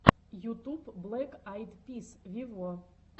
ютуб блэк айд пис вево